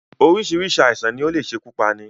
Oríṣiríṣi àìsàn ni ó le ṣekú pani